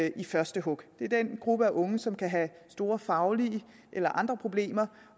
i første hug det er den gruppe af unge som kan have store faglige eller andre problemer